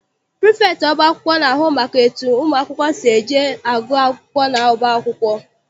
Prifektị ọba akwụkwọ na-ahụ maka etu ụmụ akwụkwọ si eje agụ akwụkwọ n'ọba akwụkwọ.